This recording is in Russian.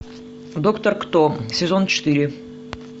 доктор кто сезон четыре